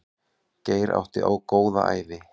Geir átti góða ævi.